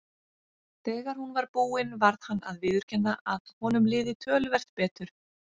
Þegar hún var búin varð hann að viðurkenna að honum liði töluvert betur.